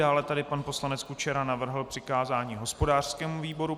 Dále tady pan poslanec Kučera navrhl přikázání hospodářskému výboru.